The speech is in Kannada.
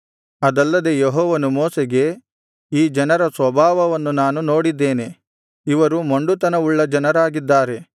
ಅದಲ್ಲದೆ ಯೆಹೋವನು ಮೋಶೆಗೆ ಈ ಜನರ ಸ್ವಭಾವವನ್ನು ನಾನು ನೋಡಿದ್ದೇನೆ ಇವರು ಮೊಂಡುತನವುಳ್ಳ ಜನರಾಗಿದ್ದಾರೆ